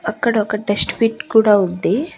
అక్కడ ఒక డిస్ట్బిన్ కూడా ఉంది.